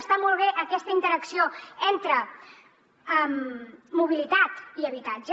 està molt bé aquesta interacció entre mobilitat i habitatge